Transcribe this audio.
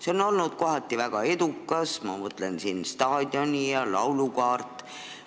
See on olnud teinekord väga edukas, ma mõtlen eelkõige staadioni ja laulukaare kordategemist.